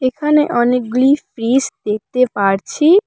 এখানে অনেকগুলি ফ্রিজ দেখতে পারছি।